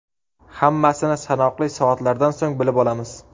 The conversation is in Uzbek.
Hammasini sanoqli soatlardan so‘ng bilib olamiz.